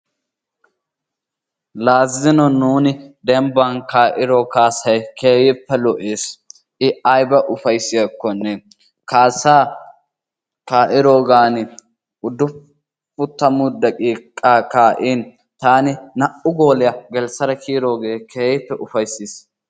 laa zino nuun idembbaan kaa'ido kaassay keehippe lo"ees. i ayba upayssiyaakonne kaassaa ka'idoogaani uduppun tammu daqiiqaa ka'iin taani naa"u goolliyaa gellisada kiyidooge keehippe upayssiis.